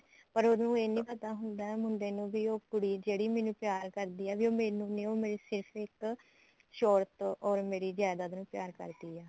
ਪਰ ਉਹਨੂੰ ਇਹ ਨਹੀਂ ਪਤਾ ਹੁੰਦਾ ਮੁੰਡੇ ਨੂੰ ਵੀ ਉਹ ਕੁੜੀ ਜਿਹੜੀ ਮੈਨੂੰ ਪਿਆਰ ਕਰਦੀ ਐ ਉਹ ਮੈਨੂੰ ਸਿਰਫ਼ ਇੱਕ ਸ਼ੋਰਤ or ਮੇਰੀ ਜਾਈਦਾਦ ਨੂੰ ਪਿਆਰ ਕਰਦੀ ਐ